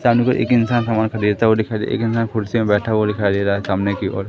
सामने की ओर एक इंसान सामान सा देता हुआ दिखाई दे रहा है एक इंसान कुर्सी में बैठा हुआ दिखाई दे रहा है सामने की ओर।